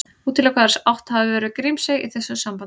Útilokað er að átt hafi verið við Grímsey í þessu sambandi.